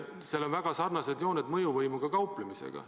Sel on väga sarnased jooned mõjuvõimuga kauplemisega.